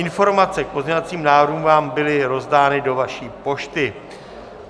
Informace k pozměňovacím návrhům vám byly rozdány do vaší pošty.